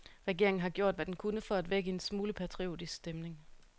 Regeringen har gjort, hvad den kunne for at vække en smule patriotisk stemning.